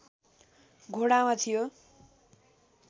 घोडामा थियो